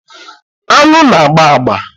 Aṅụ na-agba agba.